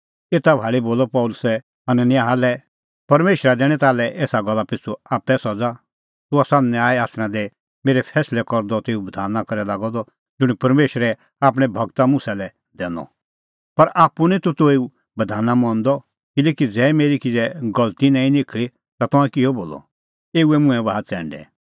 एता भाल़ी बोलअ पल़सी हनन्याह लै परमेशरा दैणीं ताल्है एसा गल्ला पिछ़ू आप्पै सज़ा तूह आसा न्याय आसना दी मेरै फैंसलै करदअ तेऊ बधाना करै लागअ द ज़ुंण परमेशरै आपणैं गूर मुसा लै दैनअ पर आप्पू निं तूह तेऊ बधाना मंदअ किल्हैकि ज़ै मेरी किज़ै गलती ई निं निखल़ी ता तंऐं किल्है बोलअ एऊए मुंहैं बाहा च़ैंडै